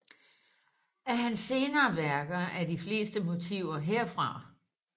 Af hans senere værker er de fleste motiver herfra